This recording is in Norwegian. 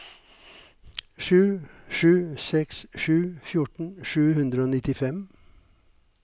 sju sju seks sju fjorten sju hundre og nittifem